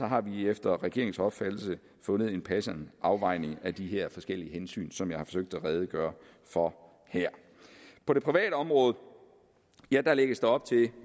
har vi efter regeringens opfattelse fundet en passende afvejning af de her forskellige hensyn som jeg har forsøgt at redegøre for her på det private område lægges der